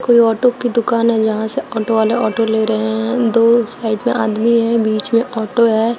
कोई ऑटो की दुकान है जहां से ऑटो वाले ऑटो ले रहे है दो साइड में आदमी है बीच में ऑटो है।